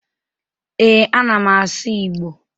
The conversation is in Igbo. Ee, ana m asụ Igbo.